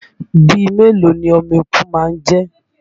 Bíi mélòó ni ọmọ eku má ń jẹ́?